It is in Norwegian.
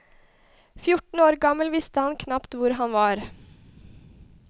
Fjorten år gammel visste han knapt hvor han var.